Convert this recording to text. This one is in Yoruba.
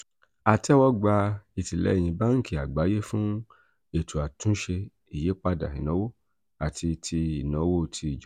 a tẹ́wọ́ gba ìtìlẹ́yìn báńkì àgbáyé fún ètò àtúnṣe ìyípadà ìnáwó àti ti ìnáwó ti ìjọba.